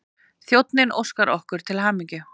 Þjónninn óskar okkur til hamingju.